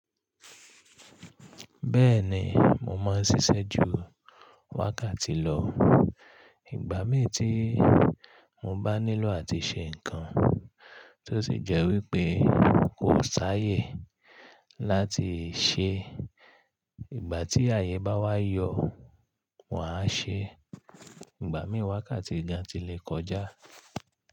Bẹ́ẹ̀ni, mo máa ń ṣiṣẹ́ ju wákàtí lọ. Ìgbà mí tí mo bá nílò àti ṣe nǹkan tó sì jẹ́ wípé n kò sáayè láti ṣe, ìgbà tí àyè bá wá yọ̀, maa ṣe. Ìgbà mí wákàtí gan ti lè kọjá.